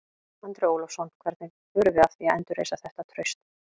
Andri Ólafsson: Hvernig förum við að því að endurreisa þetta traust?